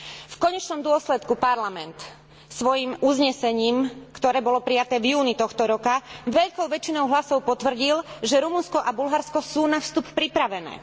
V konečnom dôsledku Parlament svojim uznesením, ktoré bolo prijaté v júni tohto roka, veľkou väčšinou hlasov potvrdil, že Rumunsko a Bulharsko sú na vstup pripravené.